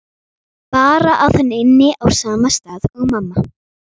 Bara að hann ynni á sama stað og mamma.